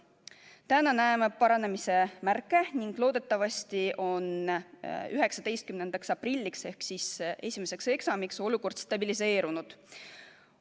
Täna näeme paranemise märke ning loodetavasti on 19. aprilliks ehk esimeseks eksamiks olukord stabiliseerunud.